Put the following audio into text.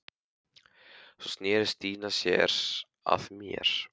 Svo sneri Stína sér að mér.